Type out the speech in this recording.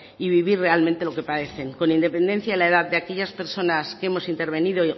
y vivir realmente lo que padecen con independencia de la edad de aquellas personas que hemos intervenido